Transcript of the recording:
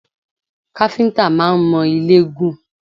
Káfíńtà máa ń mọ ilé gùn